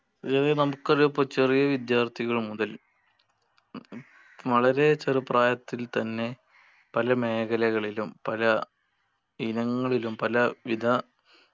സജാദേ നമുക്ക് അതിപ്പോ ചെറിയ വിദ്യാർത്ഥികൾ മുതല വളരെ ചെറുപ്രായത്തിൽ തന്നെ പല മേഖലകളിലും പല ഇനങ്ങളിലും പല വിധ